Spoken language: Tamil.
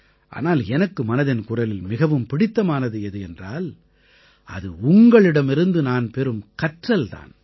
ஆனால் எனக்கு மனதின் குரலில் மிகவும் பிடித்தமானது எது என்றால் அது உங்களிடமிருந்து நான் பெறும் கற்றல் தான்